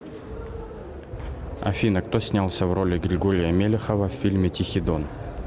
афина кто снялся в роли григория мелехова в фильме тихий дон